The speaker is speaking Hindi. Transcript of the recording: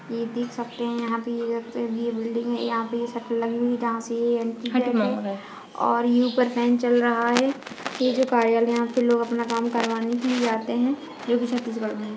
ये देख सकते है यहाँ पे ये बिल्डिंग है यहाँ पे ये शटर लगी हुई है जहाँ से ये एंट्री गेट है और ये ऊपर फैन चल रहा हैं ये जो कार्यालय है यहाँ पर लोग अपना काम करवाने के लिए जाते है जो कि छत्तीसगढ़ मे है।